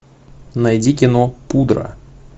найди кино пудра